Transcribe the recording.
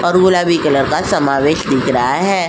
और गुलाबी कलर का समावेश दिख रहा है।